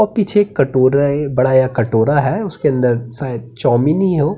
ओ पीछे एक कटोरा है बड़ा या कटोरा है उसके अंदर शायद चौमिन ही हो --